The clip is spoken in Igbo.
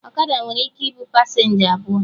Ọkada nwere ike ịbụ pasenja abụọ